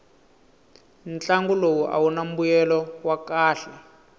ntlangu lowu awuna mbuyelo wa kahle